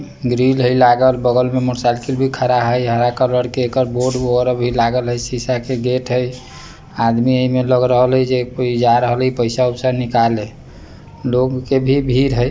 ग्रिल हई लागल बगल मे मोटरसाइकिल भी खड़ा हई हरा कलर के एकर बोर्ड भी लागल हई शीशे का गेट हई आदमी इमे लग रहलै जे कोई जा रहलै पैसा उसा निकाले लोगो क भी भीड़ हई ।